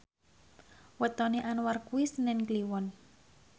wetone Anwar kuwi senen Kliwon